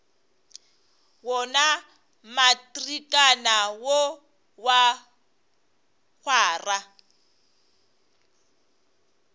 wona matrikana wo wa kgwara